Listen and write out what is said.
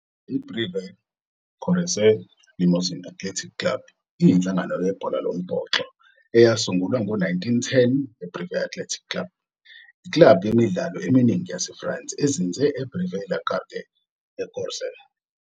I-Brive Corrèze Limousin Athletic Club iyinhlangano yebhola lombhoxo eyasungulwa ngo-1910 ye-Brive Athletic Club, iklabhu yemidlalo eminingi yaseFrance, ezinze e-Brive-la-Gaillarde eCorrèze.